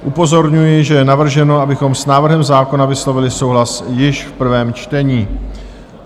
Upozorňuji, že je navrženo, abychom s návrhem zákona vyslovili souhlas již v prvém čtení.